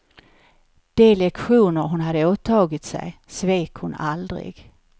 De lektioner hon hade åtagit sig, svek hon aldrig.